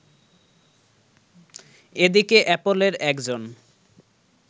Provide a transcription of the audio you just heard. এদিকে অ্যাপলের একজন